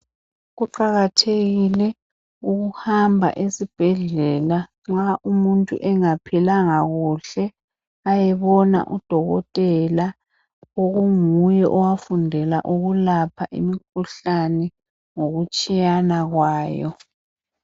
Kuqakathekile ukuhamba esibhedlela nxa umuntu engaphilanga kuhle ayebona udokotela onguye owafundela ukulapha imikhuhlane ngokutshiyana kwayo